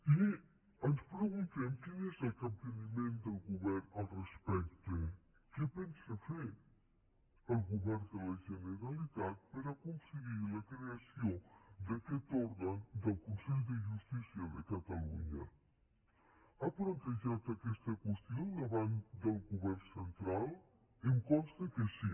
i ens preguntem quin és el capteniment del govern al respecte què pensa fer el govern de la generalitat per aconseguir la creació d’aquest òrgan del consell de justícia de catalunya ha plantejat aquesta qüestió davant del govern central em consta que sí